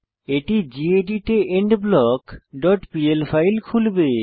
এটি গেদিত এ end block dot PL file খুলবে